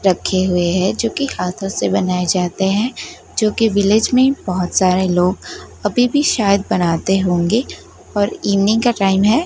रखे हुए है जो की हाथो से बनाए जाते है जोकि विलेज मे बहोत सारे लोग अभी भी शायद बनाते होंगे और इवनिंग का टाइम है।